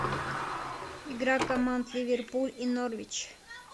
игра команд ливерпуль и норвич